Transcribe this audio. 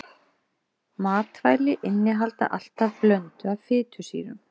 Matvæli innihalda alltaf blöndu af fitusýrum.